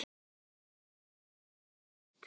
Allt náðist þetta á myndband